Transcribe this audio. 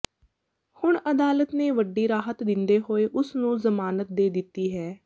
ਹੁਣ ਅਦਾਲਤ ਨੇ ਵੱਡੀ ਰਾਹਤ ਦਿੰਦੇ ਹੋਏ ਉਸ ਨੂੰ ਜ਼ਮਾਨਤ ਦੇ ਦਿੱਤੀ ਹੈ